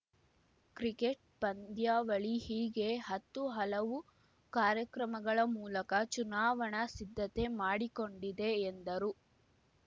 cricket ಪಂದ್ಯಾವಳಿ ಹೀಗೆ ಹತ್ತು ಹಲವು ಕಾರ್ಯಕ್ರಮಗಳ ಮೂಲಕ ಚುನಾವಣಾ ಸಿದ್ಧತೆ ಮಾಡಿಕೊಂಡಿದೆ ಎಂದರು